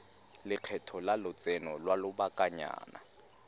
lekgetho la lotseno lwa lobakanyana